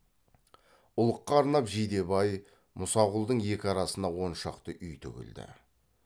ұлыққа арнап жидебай мұсақұлдың екі арасына он шақты үй тігілді